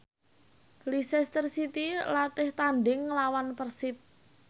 Leicester City latih tandhing nglawan Persib